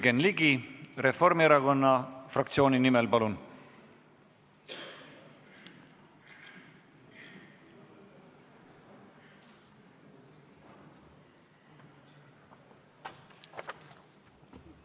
Jürgen Ligi Reformierakonna fraktsiooni nimel, palun!